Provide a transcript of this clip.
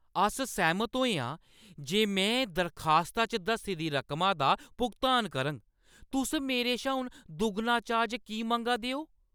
अस सैह्‌मत होए आं जे में दरखास्ता च दस्सी दी रकमा दा भुगतान करङ। तुस मेरे शा हून दुगना चार्ज की मंगा दे ओ?